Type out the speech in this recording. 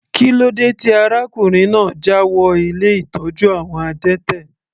Kílódé tí arákùnrin náà jáwọ ilé ìtọ́jú àwọn adẹ́tẹ̀?